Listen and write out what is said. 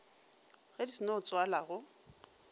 ge di seno tswala go